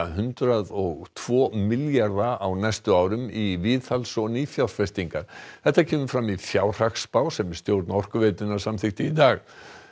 hundrað og tvo milljarða á næstu sex árum í viðhalds og nýfjárfestingar þetta kemur fram í fjárhagsspá sem stjórn Orkuveitunnar samþykkti í dag